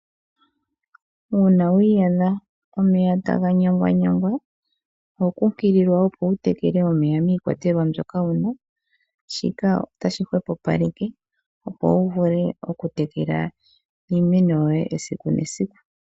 Uuna wi iyadha omeya taga nyangwanyangwa oho kunkililwa wu teke omeya miikwatelwa mbyoka wu na shika otashi hwepopaleke opo wu vule okutekela iimeno yoye esiku nesiku.